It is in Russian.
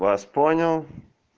вас понял